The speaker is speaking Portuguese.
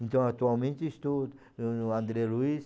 Então, atualmente estou ãh no André Luiz.